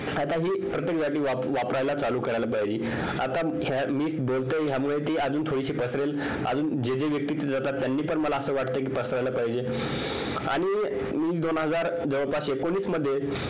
आता हि प्रत्येक जागी वापरायला चालू करायला पाहिजे आता मी बोलतोय ह्यामुळे ती अजून थोडीशी पसरेल अजून जे जे व्यक्ती तिथे जातात त्यांनी पण मला असं वाटत कि पसरायला पाहिजे आणि दोन हजार जवळपास एकोणीस मध्ये